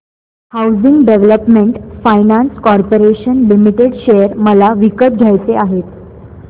housing development finance corporation limited share मला विकत घ्यायचे आहेत